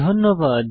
ধন্যবাদ